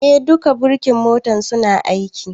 Eh, duka birkin motar suna aiki